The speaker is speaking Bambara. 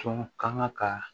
Tɔn kan ka